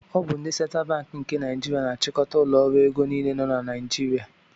Ọ bụ ndị Central Banki nke Naijiria na-achịkọta ụlọ ọrụ ego niile nọ na Naijiria.